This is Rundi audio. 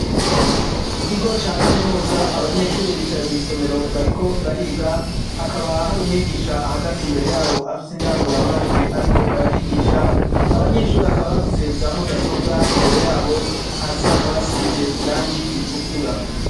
mu kigo ca kaminuza abanyeshuri bicaye mu isomero bariko bariga hakaba hari umwigisha ahagaze imbere yabo afise indanguro amajwi ariko arabigisha abanyeshuri akaba bafise za mudasobwa imbere yabo hasi hakaba asize irangi ritukura